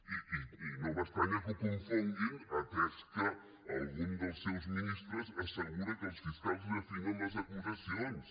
i no m’estranya que ho confonguin atès que algun dels seus ministres assegura que els fiscals li afinen les acusacions